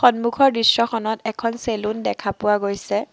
সন্মুখৰ দৃশ্যখনত এখন চেলুন দেখা পোৱা গৈছে।